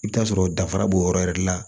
I bɛ t'a sɔrɔ dara b'o yɔrɔ yɛrɛ de la